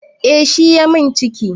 Eh shi ya min ciki